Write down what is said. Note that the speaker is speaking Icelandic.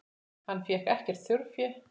Hann fékk ekkert þjórfé.